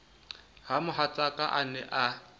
ha mohatsaka a ne a